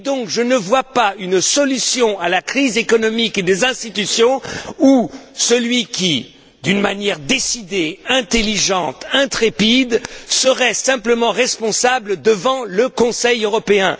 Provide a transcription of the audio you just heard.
Je ne conçois pas une solution à la crise économique et des institutions où celui qui décide, d'une manière résolue, intelligente, intrépide, serait simplement responsable devant le Conseil européen.